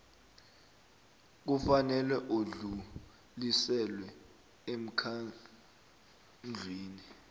kufanele udluliselwe emkhandlwini